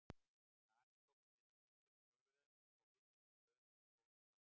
Danir tóku mið af ritreglum Þjóðverja og við fylgdum Dönum í stórum dráttum.